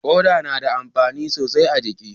Koda na da amfani sosai a jiki